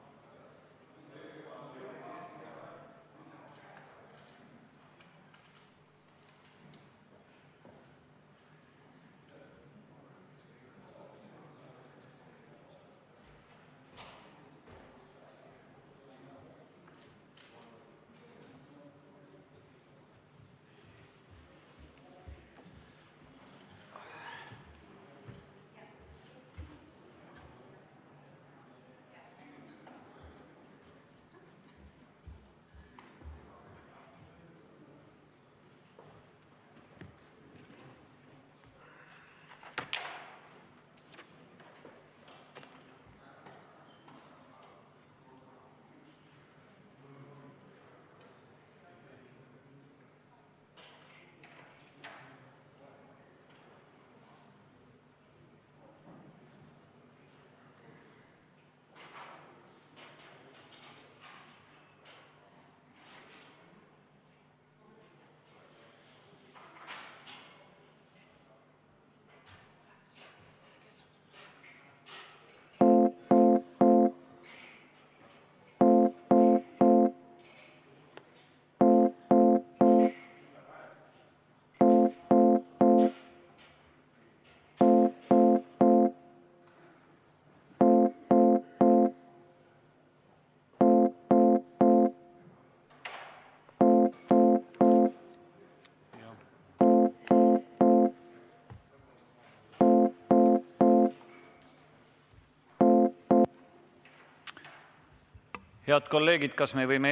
V a h e a e g